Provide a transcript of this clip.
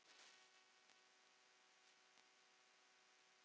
Gerður leit á